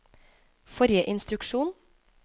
forrige instruksjon